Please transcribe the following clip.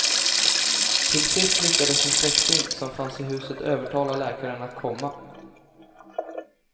Till sist lyckades en släkting som fanns i huset övertala läkaren att komma.